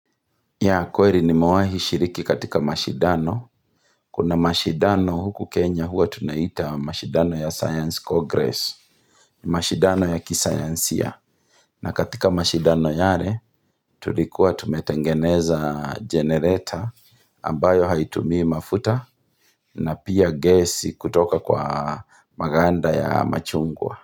Ya kweri nimewahi shiriki katika mashidano. Kuna mashidano huku Kenya huwa tunaita mashidano ya science Congress. Mashidano ya kisayansia. Na katika mashidano yare tulikuwa tumetengeneza jenereta ambayo haitumii mafuta na pia gesi kutoka kwa maganda ya machungwa.